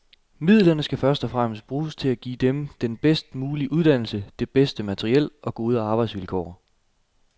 Midlerne skal først og fremmest bruges til at give dem den bedst mulige uddannelse, det bedste materiel og gode arbejdsvilkår.